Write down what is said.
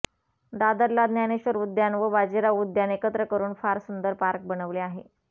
दादरला ज्ञानेश्वर उद्यान व बाजीराव उद्यान एकत्र करुन फार सुंदर पार्क बनवले आहे